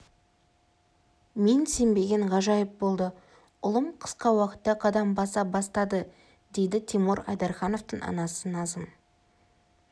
мен сенбеген ғажайып болды ұлым қысқа уақытта қадам баса бастады дейді тимур айдархановтың анасы назым